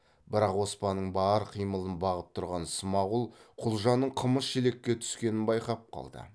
бірақ оспанның бар қимылын бағып тұрған смағұл құлжаның қымыз шелекке түскенін байқап қалды